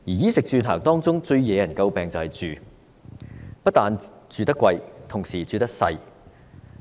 衣、食、住、行中最惹人詬病的便是"住"，市民不但住得昂貴，同時住得細小。